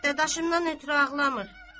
Dadaşımdan ötrü ağlamır.